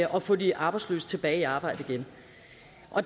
at få de arbejdsløse tilbage i arbejde igen